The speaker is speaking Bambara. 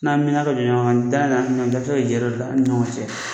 N'a mɛna ka jɛ ɲɔgɔn kɔ, da la dɔ bi se ka jɔyɔrɔ dɔ ta aw ni ɲɔgɔn cɛ.